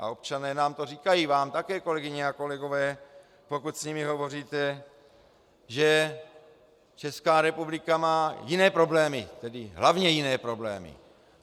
A občané nám to říkají, vám také, kolegyně a kolegové, pokud s nimi hovoříte, že Česká republika má jiné problémy, tedy hlavně jiné problémy.